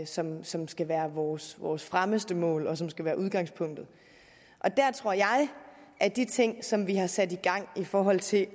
som som skal være vores vores fremmeste mål og som skal være udgangspunktet og der tror jeg at de ting som vi har sat i gang i forhold til